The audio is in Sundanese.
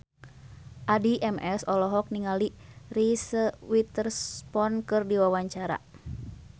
Addie MS olohok ningali Reese Witherspoon keur diwawancara